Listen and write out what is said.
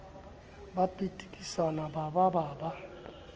ba pitikisana ba ba ba